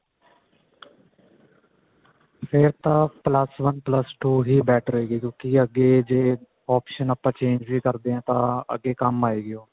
ਫੇਰ ਤਾਂ plus one plus two ਹੀ better ਰਹੇਗੀ ਕਿਉਂਕਿ ਅੱਗੇ ਜੇ option ਆਪਾਂ change ਵੀ ਕਰਦੇ ਹਾਂ ਤਾਂ ਅੱਗੇ ਕੰਮ ਆਏਗੀ